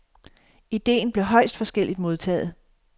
Idéen blev højst forskelligt modtaget.